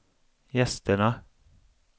gästerna